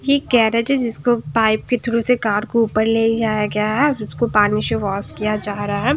ये गैरेज है जिसको पाइप के थ्रू से कार को ऊपर ले जाया गया है इसको पानी से वाश किया जा रहा है।